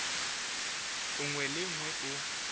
nngwe le ye nngwe o